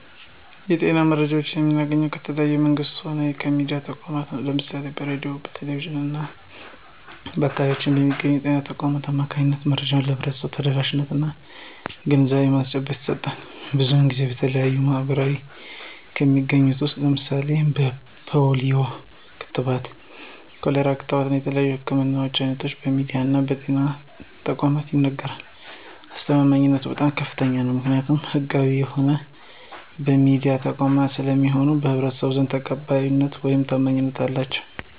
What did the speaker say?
የጤና መረጃዎችን የምናገኘው ከተለያዩ መንግስታዊ ከሆኑ የሚድያ ተቋማት ነው። ለምሳሌ በሬድዮ፣ በቴሌቪዥን እና በአካባቢው በሚገኙ በጤና ተቋማት አማካኝነት መረጃዎች ለህብረተሰቡ ተደራሽነት እና የግንዛቤ ማስጨበጫ ይሰጣል። ብዙን ጊዜ በተለያዩ ሚድያዎች ከሚነገረው ውስጥ ለምሳሌ የፖሊዮ ክትባት፣ የኮሌራ ክትባት እና የተለያዩ የህክምና አይነቶች በሚድያ እና በጤና ተቋማት ይነገራሉ። አስተማማኝነቱ በጣም ከፍተኛ ነው። ምክኒያቱም ህጋዊ በሆኑ የሚድያ ተቋማት ስለሚነገር በህብረተሰቡ ዘንድ ተቀባይነት ውይም ታማኝነት አላቸው።